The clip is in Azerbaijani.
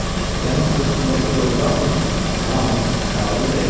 Sənin köksündəki doğurdanmı Şahım şair ürəyidir?